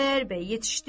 Xudayar bəy yetişdi.